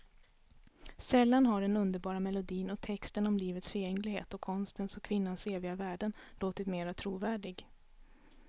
Sällan har den underbara melodin och texten om livets förgängligheten och konstens och kvinnans eviga värden låtit mera trovärdig.